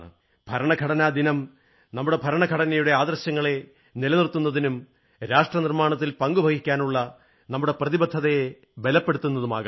ഭരണഘടനാദിനം നമ്മുടെ ഭരണഘടനയുടെ ആദർശങ്ങളെ നിലനിർത്തുന്നതിനും രാഷ്ട്രനിർമ്മാണത്തിൽ പങ്കുവഹിക്കാനുള്ള നമ്മുടെ പ്രതിബദ്ധതയെ ബലപ്പെടുത്തുന്നതുമാകട്ടെ